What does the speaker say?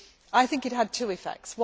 I think it had two effects.